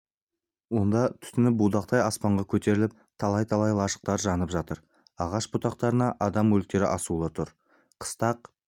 онда түтіні будақтай аспанға көтеріліп талай-талай лашықтар жанып жатыр ағаш бұтақтарына адам өліктері асулы тұр қыстақ